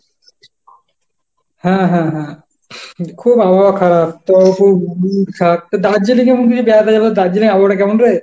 হ্যাঁ হ্যাঁ হ্যাঁ খুব আবহাওয়া খারাপ তো খুব খারাপ তো দার্জিলিংয়ে এমন কিছু বেড়াতে যাবো দার্জিলিংয়ের আবহাওয়াটা কেমন রে?